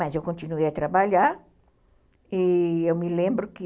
Mas eu continuei a trabalhar e eu me lembro que